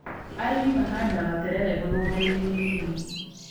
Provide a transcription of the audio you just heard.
Arĩmi mahandaga terere mũgũnda -inĩ mĩnini.